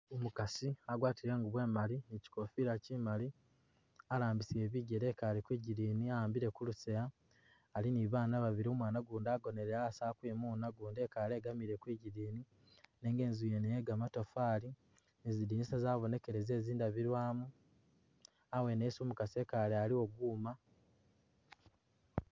Umukaasi agwatile inguubo imaali mukikofila kimaali, alambisile bikele ekaale kwigidini awambile kulusaaya ali ne babaana babili umwana ugundi agonele ali ukwimuuna ugundi ekaale egamile kwigidini nenga inzu ngene iye gamatafaali , zidinisa zabonekele ze zindabilwamu, awene esi umukaasi ekaale aliwo buuma.